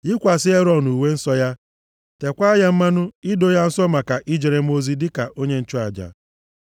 Yikwasị Erọn uwe nsọ ya. Tekwaa ya mmanụ, ido ya nsọ maka i jere m ozi dịka onye nchụaja.